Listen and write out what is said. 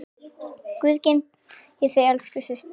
Guð geymi þig elsku systir.